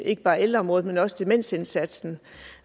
ikke bare ældreområdet men også demensindsatsen